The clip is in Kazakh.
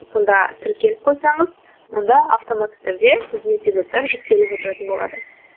сонда тіркеліп қойсаңыз онда автоматты түрде біздің эпизодтар жүктеліп отыратын болады